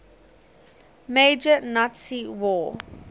major nazi war